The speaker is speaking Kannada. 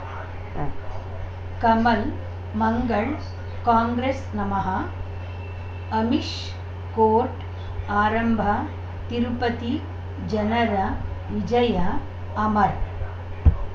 ಉಂ ಕಮಲ್ ಮಂಗಳ್ ಕಾಂಗ್ರೆಸ್ ನಮಃ ಅಮಿಷ್ ಕೋರ್ಟ್ ಆರಂಭ ತಿರುಪತಿ ಜನರ ವಿಜಯ ಅಮರ್